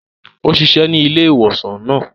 Ó ṣiṣẹ ní ilé-ìwosan náà